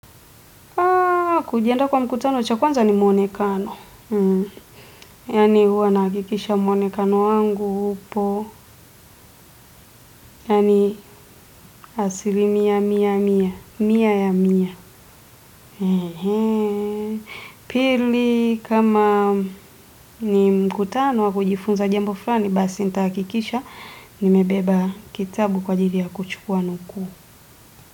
Kwa kujianda kwa mkutano cha kwanza ni mwonekano, yaani huwa nahakikisha mwonekano wangu upo, yaani asilimia mia mia, mia ya mia pili kama ni mkutano wa kujifunza jambo fulani nitahakikisha nimebeba kitabu kwa ajili ya kuchukua nukuu.